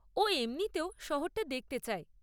ও এমনিতেও শহরটা দেখতে চায়।